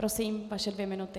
Prosím, vaše dvě minuty.